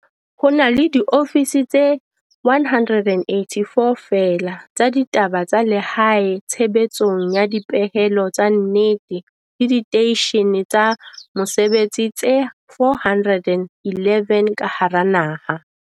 Ho na le diofisi tse 184 feela tsa ditaba tsa lehae tshebetsong ya dipehelo tsa nnete le diteishene tsa mosebetsi tse 411 ka hara naha.